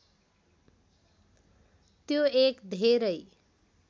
त्यो एक धेरै